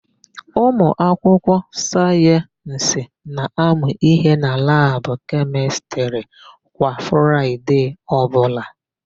Ụmụakwụkwọ sayensị na-amụ íhé na labụ kemịstrị kwa Fraịde ọbụla.